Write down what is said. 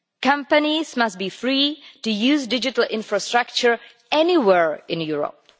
Companies must be free to use digital infrastructure anywhere in Europe.